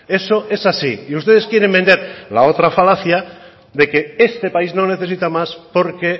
eso es así y ustedes quieren vender la otra falacia de que este país no necesita más porque